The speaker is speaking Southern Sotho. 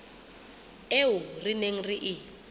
eo re neng re e